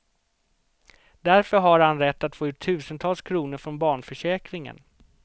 Därför har han rätt att få ut tusentals kronor från barnförsäkringen.